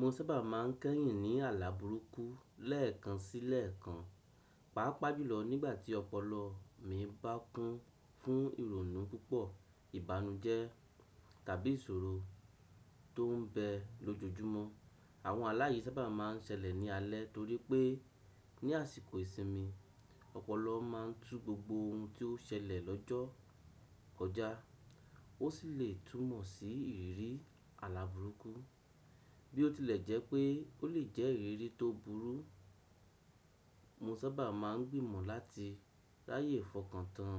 Mo sábà máa ń kẹ́yìn ní àlá burúkú lẹ́ẹ̀kan sí lẹ́ẹ̀kan, pàápàá jùlọ nígbà tí ọpọlọ mi bá kún fún ìrònú púpọ̀, ìbànújẹ́ tàbí ìṣòro tó ń bẹ lójoojúmọ́. Àwọn àlá yì sábà má a ń ṣẹlẹ̀ ní alẹ́ torí pé ní àsìkò ìsinmi, ọpọlọ máa ń tú gbogbo ohun tí ó ṣẹlẹ̀ lọ́jọ́ kọ jà. Ó sì lè túmọ̀ sí ìrírí àlá burúkú bí ó tilẹ̀ jẹ́ pé ó lè jẹ́ ìrírí tó burú. Mo sábà máa ń gbìmọ̀ láti ráyè fọkàn tán